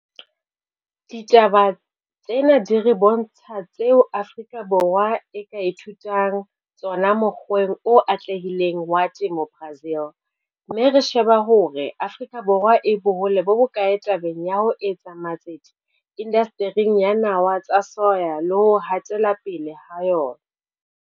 Ditaba tsena di re bontsha tseo Afrika Borwa e ka ithutang tsona mokgweng o atlehileng wa temo Brazil, mme re sheba hore Afrika Borwa e bohole bo bokae tabeng ya ho etsa matsete indastering ya nawa tsa soya le ho hatela pele ha yona.